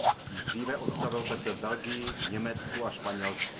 Již dříve odstavil pece v Belgii, Německu a Španělsku.